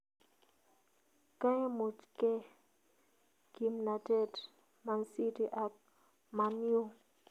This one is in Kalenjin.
kaimuchkee kimnatet Mancity ak Man-yu